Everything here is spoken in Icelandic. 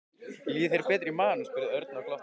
Líður þér betur í maganum? spurði Örn og glotti.